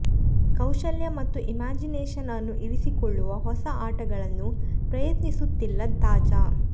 ಕೌಶಲ್ಯ ಮತ್ತು ಇಮ್ಯಾಜಿನೇಷನ್ ಅನ್ನು ಇರಿಸಿಕೊಳ್ಳುವ ಹೊಸ ಆಟಗಳನ್ನು ಪ್ರಯತ್ನಿಸುತ್ತಿಲ್ಲ ತಾಜಾ